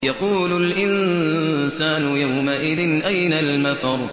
يَقُولُ الْإِنسَانُ يَوْمَئِذٍ أَيْنَ الْمَفَرُّ